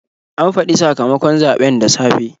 An faɗi sakamakon zaɓen da safe.